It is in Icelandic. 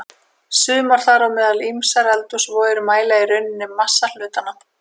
Sumar, þar á meðal ýmsar eldhúsvogir, mæla í rauninni massa hlutanna.